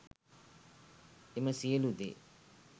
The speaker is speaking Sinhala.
එම සියලු දේ